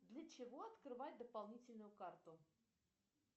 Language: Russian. для чего открывать дополнительную карту